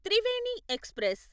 Triveni express